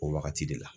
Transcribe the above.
O wagati de la